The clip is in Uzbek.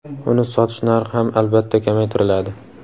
uni sotish narxi ham albatta kamaytiriladi.